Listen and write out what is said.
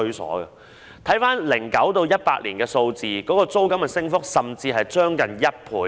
根據2009年至2018年的數字，租金升幅甚至接近1倍。